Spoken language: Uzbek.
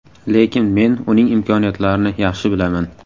Lekin men uning imkoniyatlarini yaxshi bilaman.